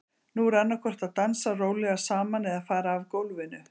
Nú er annað hvort að dansa rólega saman eða fara af gólfinu.